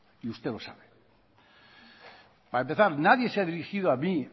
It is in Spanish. y usted lo sabe para empezar nadie se ha dirigido a mí